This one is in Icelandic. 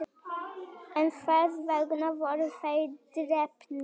en hvers vegna voru þeir drepnir